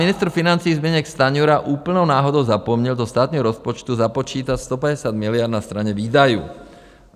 Ministr financí Zbyněk Stanjura úplnou náhodou zapomněl do státního rozpočtu započítat 150 miliard na straně výdajů.